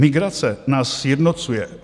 "Migrace nás sjednocuje.